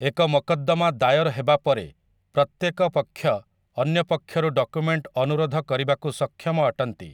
ଏକ ମକଦ୍ଦମା ଦାୟର ହେବା ପରେ, ପ୍ରତ୍ୟେକ ପକ୍ଷ ଅନ୍ୟ ପକ୍ଷରୁ ଡକୁମେଣ୍ଟ ଅନୁରୋଧ କରିବାକୁ ସକ୍ଷମ ଅଟନ୍ତି ।